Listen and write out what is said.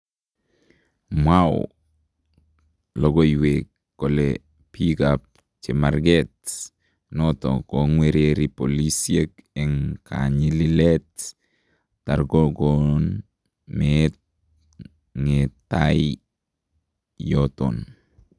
Mwaw lokooywek kole biikab chemarkeet noton kong'wererii polisyeek en kanyalileet tarkokoon meetab ngeetay yoton